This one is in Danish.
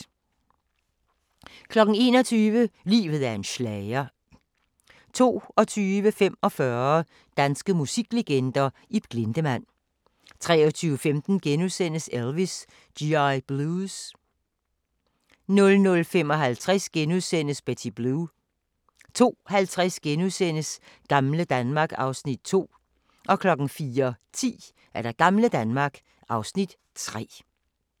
21:00: Livet er en schlager 22:45: Danske musiklegender: Ib Glindemann 23:15: Elvis: G.I. Blues * 00:55: Betty Blue * 02:50: Gamle Danmark (Afs. 2)* 04:10: Gamle Danmark (Afs. 3)